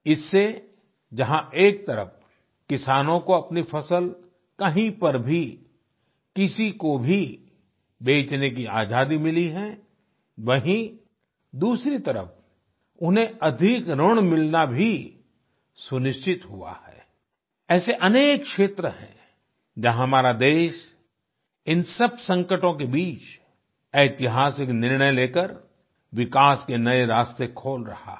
इससे जहां एक तरफ किसानों को अपनी फसल कहीं पर भी किसी को भी बेचने की आजादी मिली है वहीँ दूसरी तरफ उन्हें अधिक ऋण मिलना भी सुनिश्चित हुआ है ऐसे अनेक क्षेत्र हैं जहाँ हमारा देश इन सब संकटों के बीच ऐतिहासिक निर्णय लेकर विकास के नये रास्ते खोल रहा है